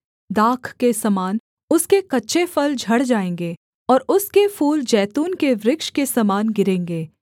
दाख के समान उसके कच्चे फल झड़ जाएँगे और उसके फूल जैतून के वृक्ष के समान गिरेंगे